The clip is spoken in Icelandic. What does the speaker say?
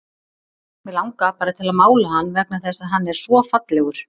Mig langar bara til að mála hann vegna þess að hann er svo fallegur.